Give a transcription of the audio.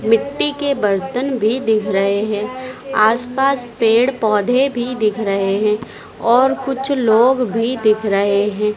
मिट्टी के बर्तन भी दिख रहे हैं आसपास पेड़ पौधे भी दिख रहे हैं और कुछ लोग भी दिख रहे हैं।